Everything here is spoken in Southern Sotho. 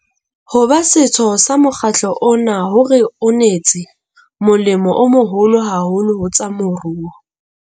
Ho ba setho sa mokgatlo ona ho re unetse molemo o moholo haholo ho tsa moruo.